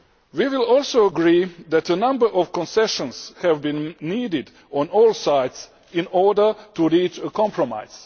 We will also agree that a number of concessions have been needed on all sides in order to reach a compromise.